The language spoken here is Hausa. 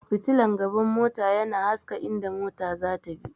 fitilan gaban mota yana haska inda mota zata bi